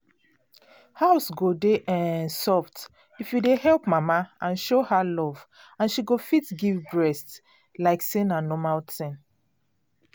house go dey um soft if you dey help mama and show her love and she go fit give breast like say na normal tin